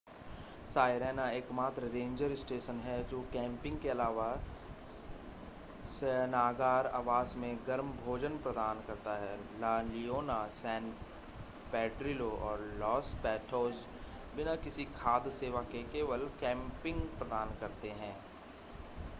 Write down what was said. Sirena एकमात्र ranger station है जो कैंपिंग के अलावा शयनागार आवास और गर्म भोजन प्रदान करता है ला लियोना सैन पेड्रिलो और लॉस पैटोज बिना किसी खाद्य सेवा के केवल कैंपिंग प्रदान करते हैं